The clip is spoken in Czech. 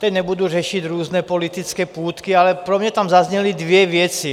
Teď nebudu řešit různé politické půtky, ale pro mě tam zazněly dvě věci.